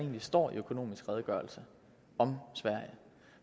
står i økonomisk redegørelse om sverige